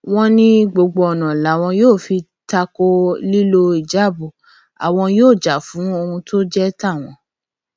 wọn ní gbogbo ọnà làwọn yóò fi ta ko lílo híjáàbù àwọn yóò jà fún ohun tó jẹ tàwọn